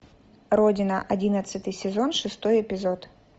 родина одиннадцатый сезон шестой эпизод